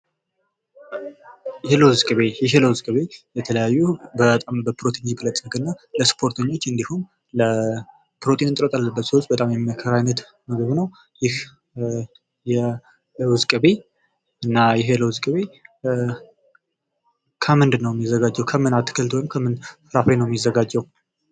የለዉዝ ቅቤ:- ይህ የለዉ ቅቤ በተለያዩ በጣም በፕሮቲን የበለፀገ እና ለስፖርተኞች እንዲሁም ለፕሮቲን እረት ላለባቸዉ ሰዎች በጣም የሚመከር አይነት ምግብ ነዉ። ይህ የለዉዝ ቅቤ እና ይህ የለዉ ቅቤ ከምን ነዉ የሚዘጋጀዉ? ከምን አትክልት ወይም ፍራፍሬ ነዉ የሚዘጋጀዉ?